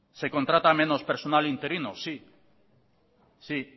se contrata menos personal interino sí